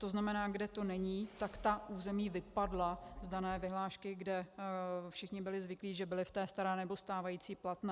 To znamená, kde to není, tak ta území vypadla z dané vyhlášky, kde všichni byli zvyklí, že byli v té staré, nebo stávající platné.